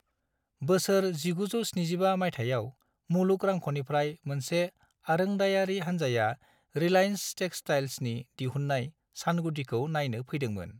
बोसोर 1975 मायथाइयाव मुलुग रांख'निफ्राय मोनसे आरोंदायारि हान्जाया 'रिलायेन्स टेक्सटाइल्स'नि दिहुन्नाय सानगुदिखौ नायनो फैदोंमोन।